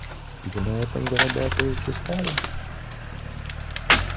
вы на этом зарабатываете славу